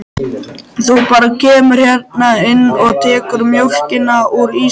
Þú bara kemur hérna inn og tekur mjólkina úr ísskápnum.